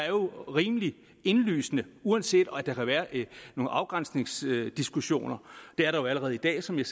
jo rimelig indlysende uanset at der kan være nogle afgrænsningsdiskussioner det er der jo allerede i dag som jeg